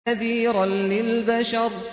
نَذِيرًا لِّلْبَشَرِ